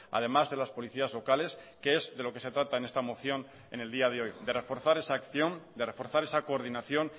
además de las policías locales que es de lo que se trata en esta moción en el día de hoy de reforzar esa acción de reforzar esa coordinación